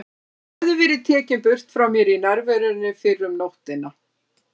Hún hafði verið tekin burt frá mér í nærverunni fyrr um nóttina.